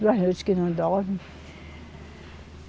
Duas noites que não dorme.